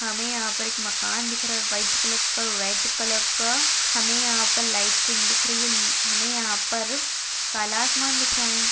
हमे यहाँ पर एक मकान दिख रहा है व्हाइट कलर का रेड कलर का हमे यहाँ पर लाइटिंग दिख रही है हमे यहाँ पर काला आसमान दिख रहा है।